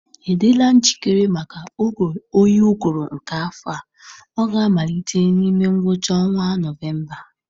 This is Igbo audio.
Ị dịla njikere maka oge oyi ụgụrụ nke afọ a? Ọ ga-amalite n'ime ngwụcha ọnwa Nọvemba.